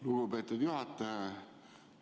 Lugupeetud juhataja!